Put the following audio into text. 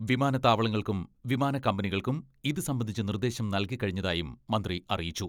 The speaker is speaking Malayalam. വിമാനത്താവളങ്ങൾക്കും വിമാനക്കമ്പനികൾക്കും ഇത് സംബന്ധിച്ച നിർദ്ദേശം നൽകിക്കഴിഞ്ഞതായും മന്ത്രി അറിയിച്ചു.